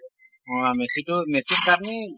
অ মেছি টো মেছি